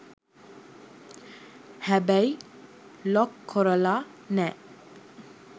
හැබැයි ලොක් කොරලා නෑ.